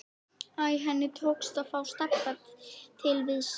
Æ, henni tókst að fá Stebba til við sig.